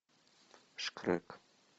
шкрек